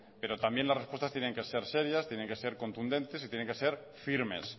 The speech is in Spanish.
pero también las respuestas tienen que ser serias tienen que ser contundentes y tienen que ser firmes